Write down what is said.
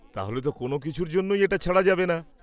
তাহলে তো কোনও কিছুর জন্যেই এটা ছাড়া যাবে না।